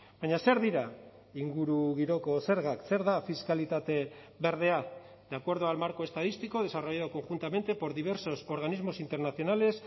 baina zer dira ingurugiroko zergak zer da fiskalitate berdea de acuerdo al marco estadístico desarrollado conjuntamente por diversos organismos internacionales